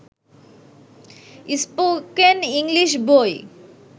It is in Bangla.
স্পোকেন ইংলিশ বই